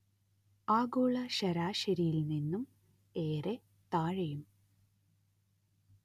ആഗോള ശരാശരിയിൽ നിന്നും ഏറെ താഴെയും